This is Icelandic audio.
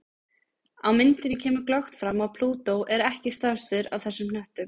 Á myndinni kemur glöggt fram að Plútó er ekki stærstur af þessum hnöttum.